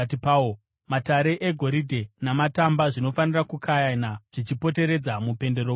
Matare egoridhe namatamba zvinofanira kukayana zvichipoteredza mupendero wejasi.